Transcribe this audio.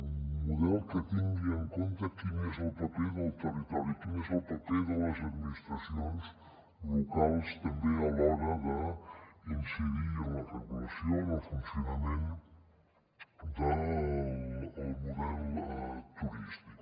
un model que tingui en compte quin és el paper del territori quin és el paper de les administracions locals també a l’hora d’incidir en la regulació en el funcionament del model turístic